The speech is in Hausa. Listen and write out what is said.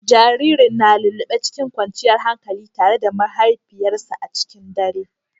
Jaririn na lullube cikin kwanciyar hankali tare da mahaifiyarsa a cikin dare.